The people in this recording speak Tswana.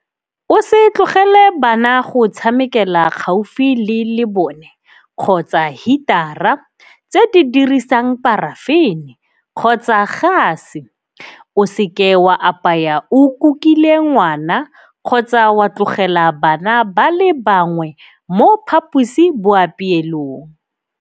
O se tlogele bana go tshamekela gaufi le lebone kgotsa hitara tse di dirisang parafene kgotsa gase. O seke wa apaya o kukile ngwana kgotsa wa tlogela bana ba le bangwe mo phaposiboapeelong.